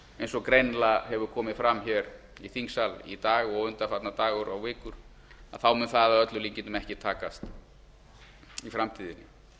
eins og greinilega hefur komið fram hér í þingsal í dag og undanfarna daga og vikur mun það að öllum líkindum ekki takast í framtíðinni